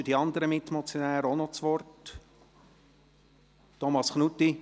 Wünschen die anderen Mitmotionäre ebenfalls das Wort? – Thomas Knutti?